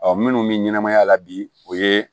Ɔ minnu bɛ ɲɛnamaya la bi o ye